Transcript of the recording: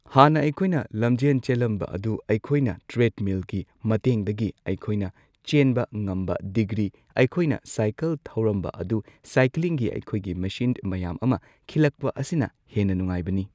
ꯍꯥꯟꯅ ꯑꯩꯈꯣꯏꯅ ꯂꯝꯖꯦꯟ ꯆꯦꯜꯂꯝꯕ ꯑꯗꯨ ꯑꯩꯈꯣꯏꯅ ꯇ꯭ꯔꯦꯗꯃꯤꯜꯒꯤ ꯃꯇꯦꯡꯗꯒꯤ ꯑꯩꯈꯣꯏꯅ ꯆꯦꯟꯕ ꯉꯝꯕ ꯗꯤꯒ꯭ꯔꯤ ꯑꯩꯈꯣꯏꯅ ꯁꯥꯢꯀꯜ ꯊꯧꯔꯝꯕ ꯑꯗꯨ ꯁꯥꯏꯀ꯭ꯂꯤꯡꯒꯤ ꯑꯩꯈꯣꯏꯒꯤ ꯃꯦꯆꯤꯟ ꯃꯌꯥꯝ ꯑꯃ ꯈꯤꯜꯂꯛꯄ ꯑꯁꯤꯅ ꯍꯦꯟꯅ ꯅꯨꯡꯉꯥꯏꯕꯅꯤ꯫